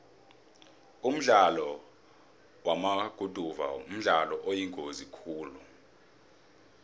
umdlalo wamaguduva mdlalo oyingozi khulu